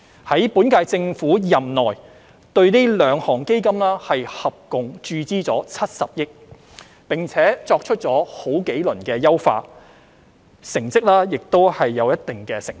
在本屆政府任內，對這兩項基金合共注資了70億元，並作出了多輪優化，成績亦有一定成效。